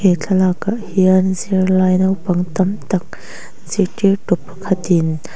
he thlalak ah hian zirlai naupang tam tak zirtirtu pakhatin--